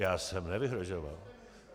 Já jsem nevyhrožoval.